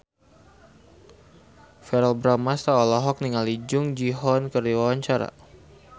Verrell Bramastra olohok ningali Jung Ji Hoon keur diwawancara